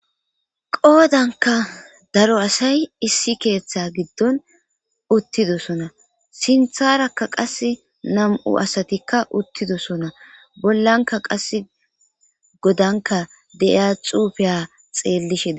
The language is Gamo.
qoodanka daro asay issi keeththe giddon uttidosona sintharakka qas nam7u asatikka uttidosona bollanka qasse godanka deiya xuufiya xeellisheda